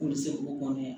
K'u bɛ se k'u kɔnɔ